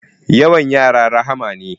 Yawan yara rahma ne